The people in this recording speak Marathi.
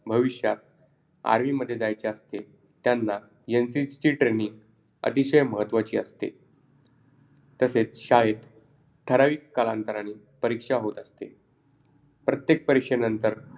प्रश्न क्रमांक पाच पण त्या विद्यार्थ्याला सांगायचे नाही असे शिक्षक तुम्हाला वारंवार सांगतात पुढील मुद्यावर का ते लिहा सर्व पदार्ध गणवेश खराब होते महागडे पदार्थ इत्यादी समानार्थी शब्द लिहा